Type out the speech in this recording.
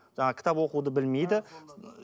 жаңағы кітап оқуды білмейді